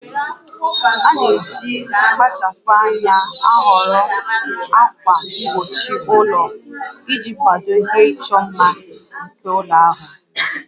A na-eji mkpachapụ anya ahọrọ ákwà mgbochi ụlọ iji kwado ihe ịchọ mma nke ụlọ ahụ